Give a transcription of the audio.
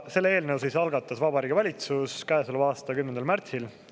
Selle eelnõu algatas Vabariigi Valitsus käesoleva aasta 10. märtsil.